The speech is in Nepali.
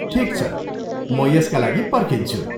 ठिक छ, म यसका लागि पर्खिन्छु।